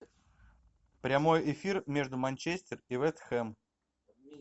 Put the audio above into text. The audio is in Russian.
прямой эфир между манчестер и вест хэм